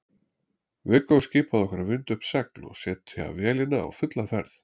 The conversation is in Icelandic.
Viggó skipaði okkur að vinda upp segl og setja vélina á fulla ferð.